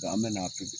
an bɛ na